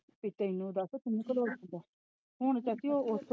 ਤੈਨੂੰ ਦੱਸ ਕੀ ਲੋੜ ਸੀ ਹੁਣ ਚਾਚੀ ਉਹ।